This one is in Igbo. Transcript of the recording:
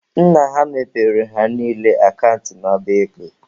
Nna ha mepere ha niile akant n'ọba ego.